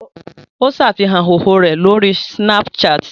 Ó ṣàfihàn ìhòòhò rẹ̀ lórí Snapchat